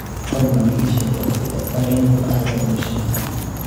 fadlan ii sheeg wakhtiga tareenku aadayo washington